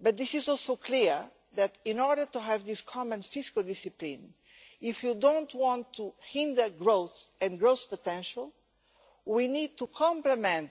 but it is also clear that, in order to have this common fiscal discipline, if we do not want to hinder growth and growth potential, we need to complement